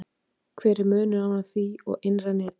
hver er munurinn á því og innra neti